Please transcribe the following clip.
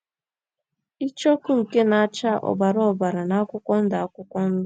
Icheoku nke na - acha ọbara ọbara na akwụkwọ ndụ akwụkwọ ndụ.